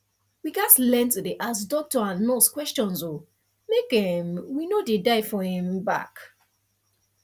we gats learn to dey ask doctor and nurse questions o make um we no dey die for um back